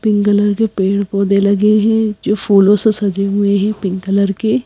pink colour के पेड़ पौधे लगे हैं जो फूलों से सजे हुए हैं पिंक कलर के--